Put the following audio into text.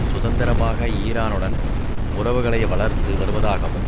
சுதந்திரமாக ஈரானுடன் உறவுகளை வளர்த்து வருவதாகவும்